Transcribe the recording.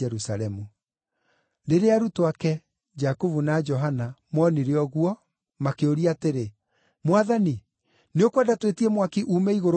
Rĩrĩa arutwo ake, Jakubu na Johana monire ũguo makĩũria atĩrĩ, “Mwathani, nĩũkwenda twĩtie mwaki uume igũrũ ũmaniine?”